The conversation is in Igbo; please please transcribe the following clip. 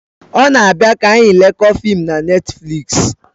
O na abia ka anyi lekoo fim na Netflịks